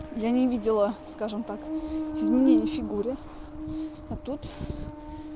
я не видела скажем так изменений в фигуре а тут